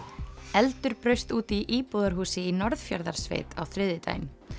eldur braust út í íbúðarhúsi í á þriðjudaginn